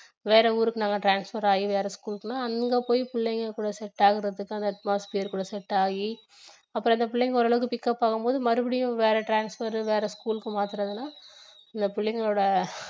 வேற ஊருக்கு நாங்க transfer ஆகி வேற school க்குனா அங்க போய் பிள்ளைங்க கூட set ஆகுறதுக்கு அந்த atmosphere கூட set ஆகி அப்புறம் இந்த பிள்ளைங்க ஓரளவுக்கு pickup ஆகும் போது மறுபடியும் வேற transfer வேற school க்கு மாத்துறதுனா இந்த பிள்ளைங்களோட